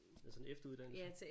Altså en efteruddannelse